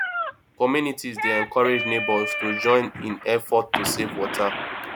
communities dey encourage neighbors to join in efforts to save water